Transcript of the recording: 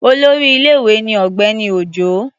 Olórí ilé-ìwé ni Ọ̀gbẹ́ni Òjó.